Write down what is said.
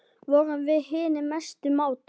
Vorum við hinir mestu mátar.